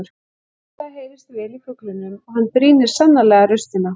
Vissulega heyrist vel í fuglinum og hann brýnir sannarlega raustina.